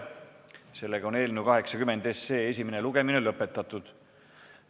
Sellega on eelnõu 80 esimene lugemine lõpetatud.